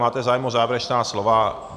Máte zájem o závěrečná slova?